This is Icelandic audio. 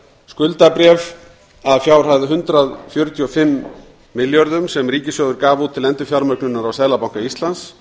skuldabréf að fjárhæð hundrað fjörutíu og fimm milljarðar sem ríkissjóður gaf út til endurfjármögnunar á seðlabanka íslands